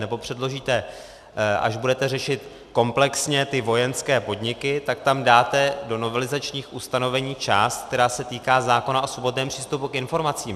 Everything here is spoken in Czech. Nebo předložíte, až budete řešit komplexně ty vojenské podniky, tak tam dáte do novelizačních ustanovení část, která se týká zákona o svobodném přístupu k informacím.